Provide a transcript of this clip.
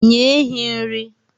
Nye ehi nri.